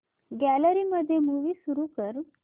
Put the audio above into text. gallery मध्ये movie सुरू कर